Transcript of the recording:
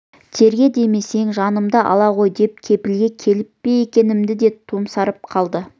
терге демесем жанымды ала ғой деп кепілге келіп пе екенмін деп томсарып қалды